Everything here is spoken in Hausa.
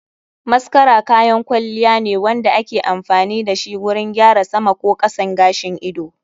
Mascara kayan kwalliya ne wanda ake amfani dashi wurin gyara sama ko kasan gashin ido.